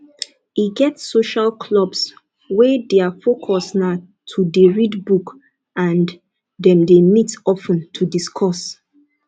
e get social clubs wey their focus na to dey read book and dem dey meet of ten to discuss